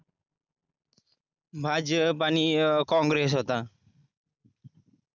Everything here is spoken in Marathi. भाजप आणि अं काँग्रेस होता